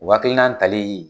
O hakilitali